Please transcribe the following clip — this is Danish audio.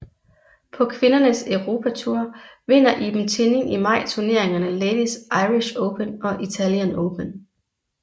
På kvindernes Europatour vinder Iben Tinning i maj turneringerne Ladies Irish Open og Italian Open